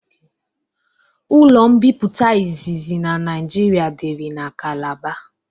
Ụlo mbipụta izizi na naijịrịa diri na kalabar